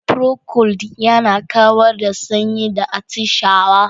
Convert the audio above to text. Procold yana kawar da sanyi da atishawa.